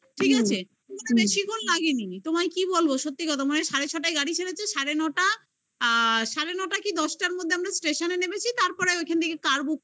ঠিক আছে? বেশিক্ষণ লাগেনি তোমায় কি বলবো সত্যি কথা মানে সাড়ে ছটায় গাড়ি ছেড়েছে সাড়ে নটা সাড়ে নটার কি দশটার মধ্যে আমরা station -এ নেমেছি তারপরে ওখান থেকে car book করে